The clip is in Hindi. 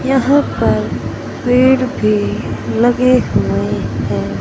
यहां पर पेड़ भी लगे हुए है।